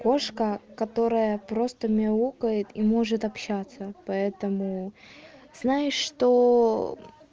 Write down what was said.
кошка которая просто мяукает и может общаться поэтому знаешь что